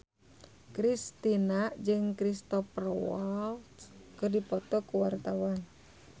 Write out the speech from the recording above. Kristina jeung Cristhoper Waltz keur dipoto ku wartawan